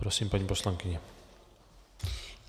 Prosím, paní poslankyně.